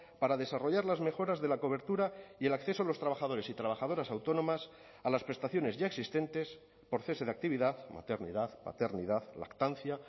para desarrollar las mejoras de la cobertura y el acceso a los trabajadores y trabajadoras autónomas a las prestaciones ya existentes por cese de actividad maternidad paternidad lactancia